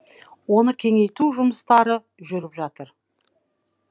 оны кеңейту жұмыстары жүріп жатыр